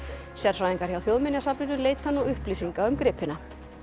sérfræðingar hjá Þjóðminjasafninu leita nú upplýsinga um gripina